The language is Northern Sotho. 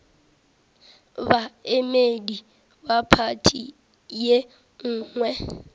baemedi ba phathi ye nngwe